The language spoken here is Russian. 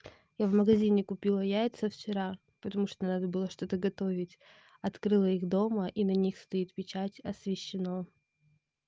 я в магазине купила яйца вчера потому что надо было что-то готовить открыла их дома и на них стоит печать освещено